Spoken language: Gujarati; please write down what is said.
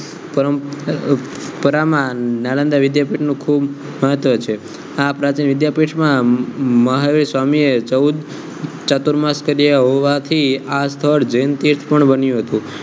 પરંપરા માં નાલંદા વિદ્યાપીઠ નું ખુબ મહત્વ છે આ વિદ્યાપીઠ માં મહાવીર સ્વામી એ ચૌદ ચતુર્માસ કર્યા હોવાથી આ સ્થળ જૈન તીર્થ પણ બન્યું હતું